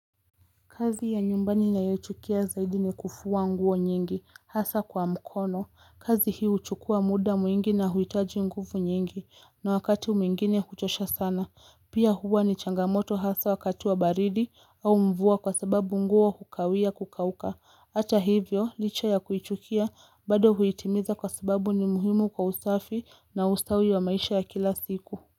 Kazi ya nyumbani ninayoichukia zaidi ni kufua nguo nyingi hasa kwa mkono. Kazi hii huchukua muda mwingi na huitaji nguvu nyingi. Na wakati mwingine kuchosha sana. Pia huwa ni changamoto hasa wakati wa baridi au mvua kwa sababu nguo hukawia kukauka. Hata hivyo licha ya kuichukia bado huitimiza kwa sababu ni muhimu kwa usafi na ustawi wa maisha ya kila siku.